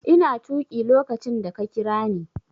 Ina tuƙi lokacin da ka kira ni.